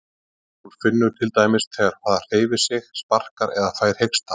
Hún finnur til dæmis þegar það hreyfir sig, sparkar eða fær hiksta.